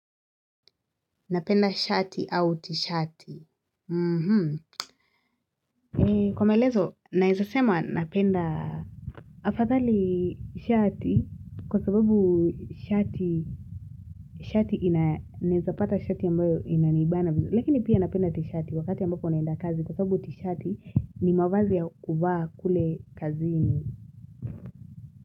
Napenda shati au tishati mhm Kwa maelezo naizasema napenda Afadhali shati kwa sababu shati shati inaezapata shati yambayo inaniibana vizu Lekini pia napenda tishati wakati yambako naenda kazi kwa sababu tishati ni mawazi ya kuvaa kule kazini.